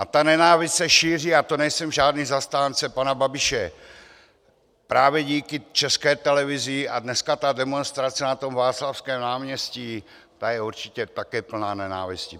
A ta nenávist se šíří, a to nejsem žádný zastánce pana Babiše, právě díky České televizi, a dneska ta demonstrace na tom Václavském náměstí, ta je určitě také plná nenávisti.